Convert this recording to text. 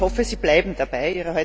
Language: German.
Ich hoffe, Sie bleiben dabei.